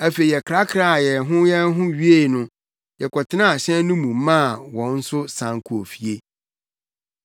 Afei yɛkrakraa yɛn ho yɛn ho wiei no, yɛkɔtenaa hyɛn no mu maa wɔn nso san kɔɔ fie.